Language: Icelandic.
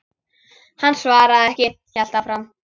Hann svaraði ekki, hélt áfram.